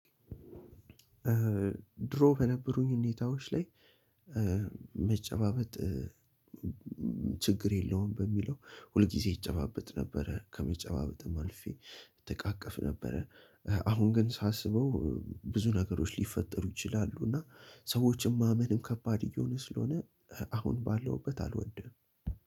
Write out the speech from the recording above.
ድሮ በነበሩኝ ሁኔታዎች ላይ መጨባበጥ ችግር የለውም በሚለው ሁልጊዜ እጨባበጥ ነበረ። ከመጨባበጥም አልፌ እተትቃቀፍ ነበረ። አሁን ግን ሳስበው ብዙ ነገሮች ሊፈጠሩ ይችላሉ። እና ሰዎችም ማመንም ከባድ እየሆነ ስለሆነ አሁን ባለሁበት አልወደም።